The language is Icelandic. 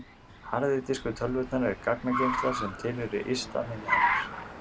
harði diskur tölvunnar er gagnageymsla sem tilheyrir ytra minni hennar